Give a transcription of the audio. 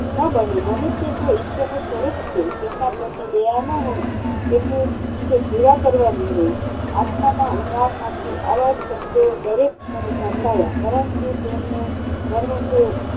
ના બને મનુષ્ય તો ઈશ્વરનું સ્વરૂપ છે તેમના પ્રતિ દયા ના હોય તેમને તે કરવા. આસ્થાના ઊંડાણમાંથી આવા શબ્દો દરેક કાને સંભળાયા. પરન્તું તેમનો મર્મ તો